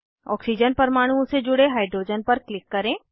oxygen परमाणुओं से जुड़े हाइड्रोजन पर क्लिक करें